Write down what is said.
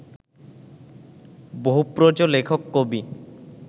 বহুপ্রজ লেখক কবি